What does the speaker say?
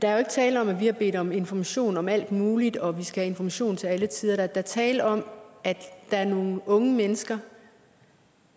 er jo ikke tale om at vi har bedt om information om alt muligt og at vi skal have information til alle tider der er tale om at der er nogle unge mennesker